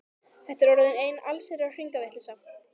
Þetta er orðin ein allsherjar hringavitleysa!